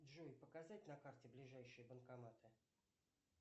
джой показать на карте ближайшие банкоматы